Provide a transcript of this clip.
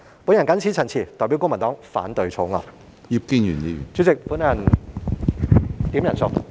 我謹此陳辭，代表公民黨反對《條例草案》。